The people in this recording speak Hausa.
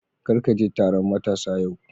Kar ka je taron matasa yau